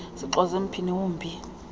sixoze mphini wumbi